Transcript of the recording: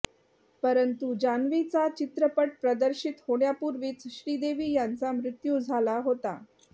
परंतु जान्हवीचा चित्रपट प्रदर्शित होण्यापूर्वीच श्रीदेवी यांचा मृत्यू झाला होता